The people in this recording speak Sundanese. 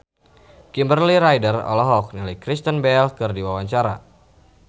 Kimberly Ryder olohok ningali Kristen Bell keur diwawancara